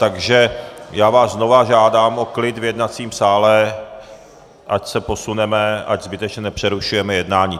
Takže já vás znova žádám o klid v jednacím sále, ať se posuneme, ať zbytečně nepřerušujeme jednání.